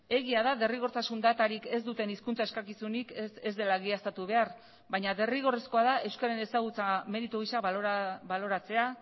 egia da derrigortasun datarik ez duten hizkuntza eskakizunik ez dela egiaztatu behar baina derrigorrezkoa da euskararen ezagutza meritu gisa baloratzea